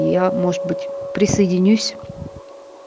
я может быть присоединюсь